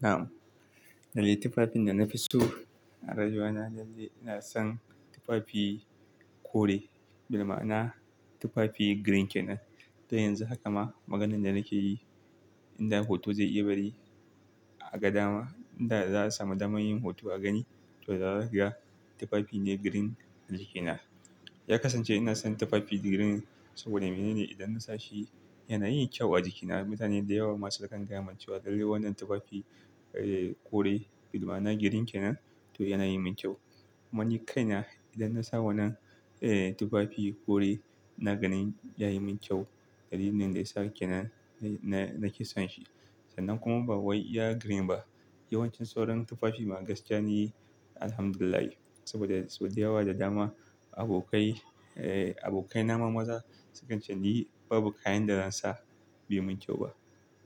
Na'am, lallai tufafin da na fi so a rajona dallin ina son tufafi kore, bima'ana tufafi green kenan. To yanzu haka ma maganan da nake yi in da hoto zai iya bari a gadama, inda za su sami damar yin hoto a gani. To, zakaga tufafi ne green a jikina. Ya kasance ina son tufafi green saboda me ne ne? Idan na sa shi yana yin kyau a jikina. Mutane da yawa ma sukan gayaman cewa lallai wannan tufafi, eh, kore bima'ana green kenan to yana yi min kyau. Kuma ni kai na idan na sa wannan, eh, tufafi kore na gani ya yi min kyau. Dalilin da ya sa kenan na, na ke son shi. Sannan kuma ba wai iya green ba, yawancin sauran tufafi magaskiya ne, Alhamdulillahi. Saboda sau da yawa da dama abokai, eh, abokaina ma maza sukan ce, "Ni babu kayan da zan sa bai mun kyau ba.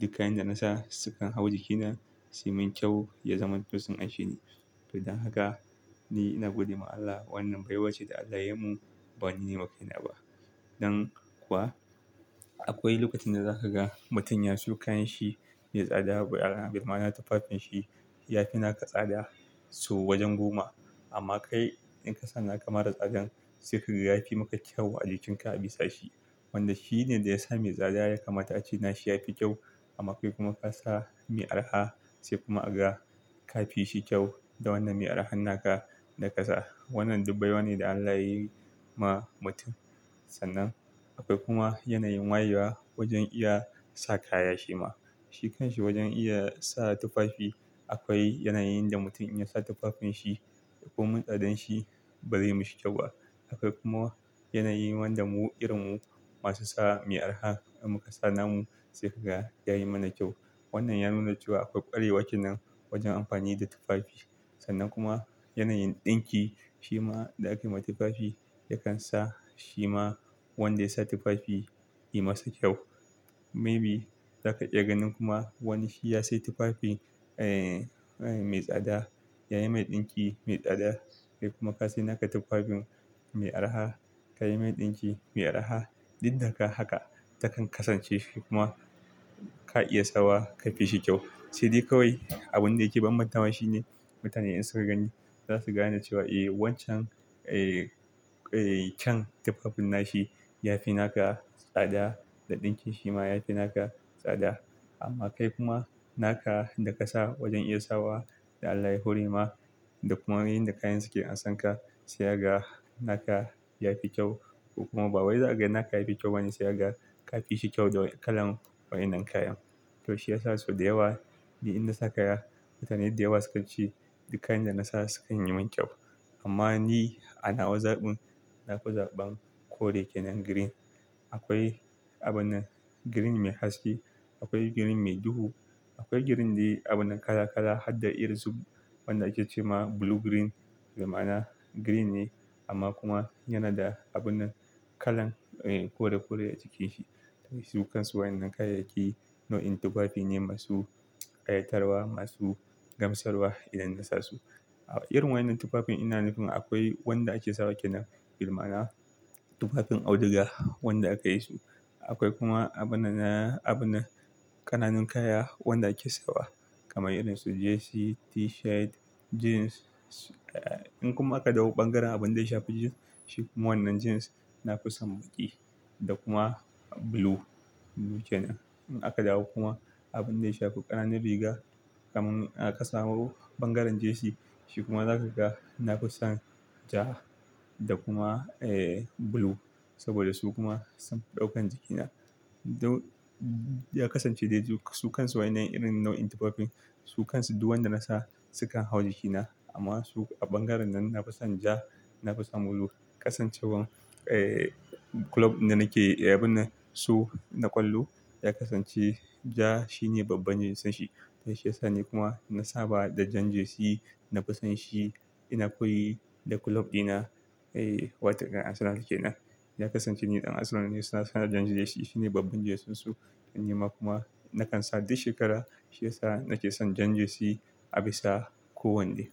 Duk kayan da na sa sukan hau jikina su yi min kyau, ya zaman to sun anshe ni." To don haka ni ina gode ma Allah wannan baiwa ce da Allah ya yi mun bani nima kai na ba. Dan kuwa akwai lokacin da za ka ga mutum yasiyo kayanshi mai tsada, bima'ana tufafanshi ya fi naka tsada so wajen goma. Amma kai in ka sa naka mara tsadan sai kaga ya fi maka kyau a jikinka a bisa shi. Wanda shi ne da ya sa mai tsada ya kama ta ce, "Nashi ya fi kyau." Amma kai kuma ka sa mai araha sai kuma aka ka fi shi kyau da wannan mai arahan naka na ka za. Wannan duk baiwa ne da Allah ya yi ma mutum. Sannan akwai kuma yanayin wayewa wajen iya sa kaya shi ma. Shikanshi wajen iya sa tufafi. Akwai yanayin da mutum in ya sa tufafanshi ko mun tsadanshi bari mi shi kyau ba. Akwai kuma yanayi wanda mu irinmu masu sa mai araha da muka sa namu sai kaga ya yi mana kyau. Wannan ya nuna cewa akwai ƙwarewa kenan wajen amfani da tufafi. Sannan kuma yanayin ɗinki shi ma da aka yi ma tufafi yakan sa shi ma wanda ya sa tufafi yi masa kyau. Maybe za ka iya ganin kuma wani shi ya sai tufafi, eh, mai tsada ya yi mai ɗinki mai tsada. Eh kuma ka sai naka tufafin mai araha ka yi mai ɗinki mai araha. Duk daga haka takan kasance kuma ka iya sawa ka fi shi kyau. Sai dai kawai abin da yake banbanta wa shi ne mutane in suka gani za su gane cewa, "Eh wancan, eh, can tufafin nashi ya fi naka tsada da ɗinkin shi ma ya fi naka tsada." Amma kai kuma naka da ka sa wajen iya sawa da Allah ya hore ma da kuma yin da kayan suke an san ka sai ga naka ya fi kyau. Koh kuma ba wai za a ga naka ya fi kyau bane sai ka ga ka fi shi kyau da kalan waɗannan kayan. To shi ya sa sau da yawa ni in na sa kaya mutane da yawa sukan ce duk kayan da na sa sukan yi mun kyau. Amma ni a nawa zaɓin na fi zaɓan kore kenan green. Akwai abin green mai haske, akwai green mai duhu, akwai green da abuna kala-kala har da irin su wanda ake ce ma blue green. Bima'ana green ne amma kuma yana da abuna kalan, eh, kore-kore a cikinsa. To su kansu waɗannan kayayyaki nau'in tufafi ne masu ƙayatarwa, masu gamsarwa idan na sa su. Irin waɗannan tufafin ina nufin akwai wanda ake sawa kenan. Bima'ana tufafin auduga wanda aka yi su. Akwai kuma abunana, abuna ƙananun kaya wanda ake sawa kamar irin su jersey, t-shirt, jeans. In kuma aka dawo bangaren abin da ya shafi jeans, shi kuma wannan jeans na fi son baƙi da kuma blue, blue kenan. In aka dawo kuma abin da ya shafi ƙananan riga kamar in aka samu bangaren jersey shi kuma za ka ga na fi son ja da kuma, eh, blue saboda su kuma sun daukan jikina. To ya kasance dai duk su kansu waɗannan irin nau'in tufafin su kansu duk wanda na sa sukan hau jikina. Amma su a bangaren nan na fi son ja, na fi son blue. Kasancewan, eh, kulob da nake, eh, abuna su na ƙwallo ya kasance ja shi ne babban jinsan shi. To shi ya sa ne kuma na saba da jan jersey na fi son shi ina koyi da kulob ɗina. Eh, wataƙila arsenal ke nan. Ya kasance ni ɗan Arsenal ne suna saka jan jersey shi ne babban jerseyn su. Ni ma kuma na kan sa duk shekara. Shi ya sa na ke son jan jersey a bisa ko wanne.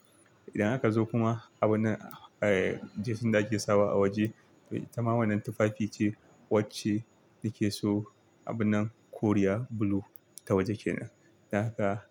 Idan haka ka zo kuma abunan, eh, jersey da ake sawa a waje. To ita ma wannan tufafi ce wacce nake so abunan koriya blue ta waje kenan. Dan haka.